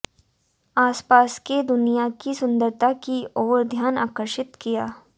आसपास के दुनिया की सुंदरता की ओर ध्यान आकर्षित किया